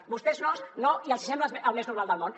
vostès no i els hi sembla el més normal del món